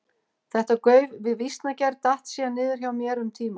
Þetta gauf við vísnagerð datt síðan niður hjá mér um tíma.